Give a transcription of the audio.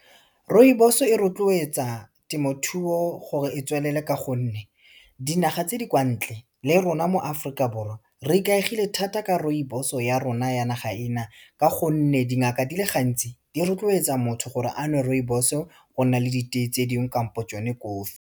Rooibos-o e rotloetsa temothuo gore e tswelele ka gonne, dinaga tse di kwa ntle le rona mo Aforika Borwa re ikaegile thata ka rooibos-o ya rona ya naga ena, ka gonne dingaka di le gantsi di rotloetsa motho gore a nwe rooibos-o go nna le diteye tse dingwe kampo tsone kofi.